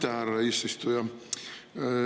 Aitäh, härra eesistuja!